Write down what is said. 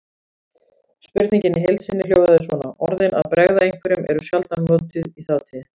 Spurningin í heild sinni hljóðaði svona: Orðin að bregða einhverjum eru sjaldan notuð í þátíð.